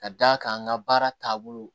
Ka d'a kan an ka baara taabolo